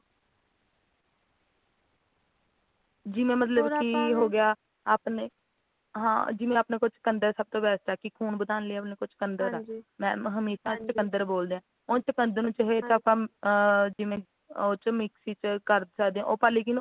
ਜਿਵੇਂ ਮਤਲੱਬ ਕਿ ਹੋਰ ਆਪਾ ਨੇ ਹੋਗਿਆ ਆਪਣੇ ਹਾਂ ਜਿਵੇਂ ਆਪਣੇ ਕੋਲ ਚੁਕੰਦਰ ਸਭ ਤੋਂ best ਆ ਕਿ ਖੂਨ ਵਧਾਉਣ ਲਈ ਆਪਣੇ ਕੋਲ ਚੁਕੰਦਰ ਆ mam ਹਮੇਸ਼ਾਂ ਹਾਂਜੀ ਚੁਕੰਦਰ ਬੋਲਦੇ ਆ ਉਹ ਚੁਕੰਦਰ ਨੂੰ ਕੰਮ ਹੱਮ ਜਿਵੇਂ mix ਚ ਕਰ ਸਕਦੇ ਆ ਪਰ ਲੇਕਿਨ